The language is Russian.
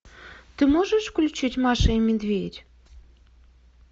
ты можешь включить маша и медведь